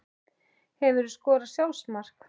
Hefurðu skorað sjálfsmark?